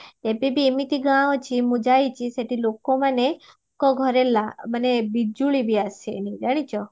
ଏବେ ବି ଏମିତି ଗାଁ ଅଛି ମୁଁ ଯାଇଚି ସେଠି ଲୋକ ମାନେ ମାନେ ବିଜୁଳି ବି ଆସେନି ଜାଣିଚ